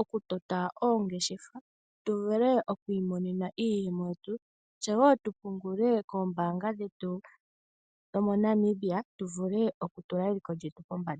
okutota oongeshefa, tuvule okwimonena iiyemo yetu tse wo tupungule kombaanga dhetu dho moNamibia tuvule okutula eliko lyetu pombanda.